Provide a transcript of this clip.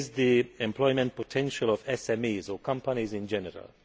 This is the employment potential of SMEs or companies in general.